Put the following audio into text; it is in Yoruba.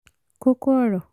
kókó ọ̀rọ̀